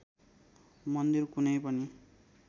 मन्दिर कुनै पनि